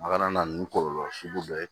A kana na nin kɔlɔlɔ sugu dɔ ye